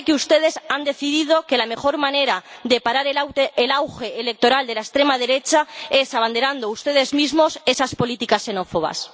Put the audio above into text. Parece que ustedes han decidido que la mejor manera de parar el auge electoral de la extrema derecha es abanderando ustedes mismos esas políticas xenófobas.